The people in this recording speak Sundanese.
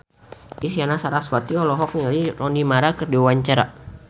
Isyana Sarasvati olohok ningali Rooney Mara keur diwawancara